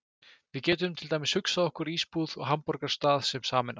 Við getum til dæmis hugsað okkur ísbúð og hamborgarastað sem sameinast.